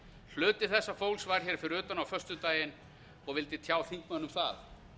hluti þessa fólks var hér fyrir utan á föstudaginn og vildi tjá þingmönnum það